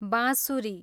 बाँसुरी